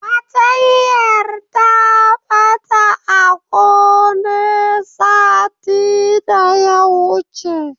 Fartanyar ta ɓata a gone satin daya wuce.